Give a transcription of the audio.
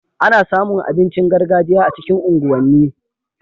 Ana samu abincin gargajiya a cikin unguwan ni